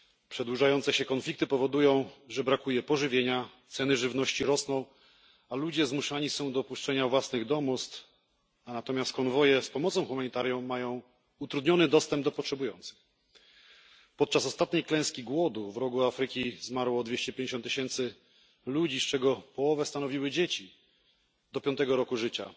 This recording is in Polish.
Przedłużające się konflikty powodują, że brakuje pożywienia, ceny żywności rosną, a ludzie zmuszani są do opuszczania własnych domostw, natomiast konwoje z pomocą humanitarną mają utrudniony dostęp do potrzebujących. Podczas ostatniej klęski głodu w Rogu Afryki zmarło 250 tysięcy ludzi, z czego połowę stanowiły dzieci do piątego roku życia.